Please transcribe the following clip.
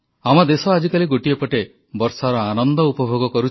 ସମାଜସେବା ଓ ସମାଜ ସମ୍ବର୍ଦ୍ଧନକୁ ମୂଳମନ୍ତ୍ର କରିବାକୁ ଦେଶବାସୀଙ୍କୁ ପରାମର୍ଶ ଦେଲେ ପ୍ରଧାନମନ୍ତ୍ରୀ